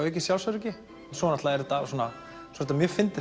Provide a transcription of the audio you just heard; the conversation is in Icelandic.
aukið sjálfsöryggi svo er þetta mjög fyndið